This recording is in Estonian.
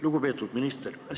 Lugupeetud minister!